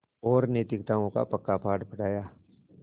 और नैतिकताओं का पक्का पाठ पढ़ाया